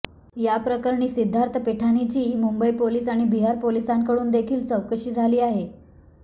याप्रकरणी सिद्धार्थ पिठानीची मुंबई पोलीस आणि बिहार पोलिसांकडून देखील चौकशी झाली आहे